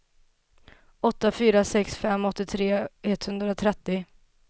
åtta fyra sex fem åttiotre etthundratrettio